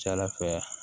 Ca ala fɛ